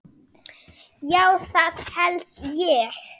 Já, það held ég.